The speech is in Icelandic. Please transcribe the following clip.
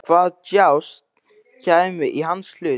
Hvaða djásn kæmi í hans hlut?